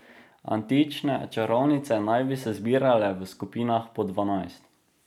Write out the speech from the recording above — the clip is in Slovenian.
Antične čarovnice naj bi se zbirale v skupinah po dvanajst.